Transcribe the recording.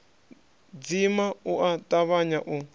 dzima u a tavhanya u